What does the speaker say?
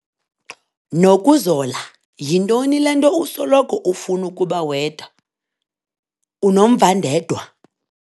Nokuzola! Yintoni le nto usoloko ufuna ukuba wedwa, unomvandedwa?